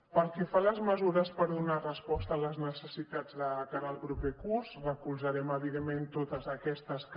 pel que fa a les mesures per donar resposta a les necessitats de cara al proper curs recolzarem evidentment totes aquestes que